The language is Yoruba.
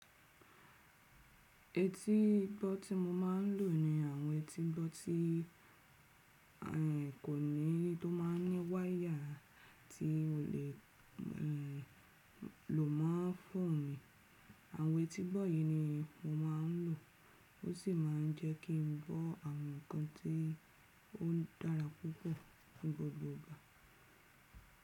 Etí gbọ́ tí mo máa ń lò ni àwọn etí gbọ tí kò ní tó máa ń ní wáyà tí o lè lò mo phone mi. Àwọn etí gbọ yìí ni mo máa ń lò o sì máa ń jẹ́ kí n gbọ́ àwọn ǹkan tí ó dára púpọ̀ ní gbogbo ìgbà.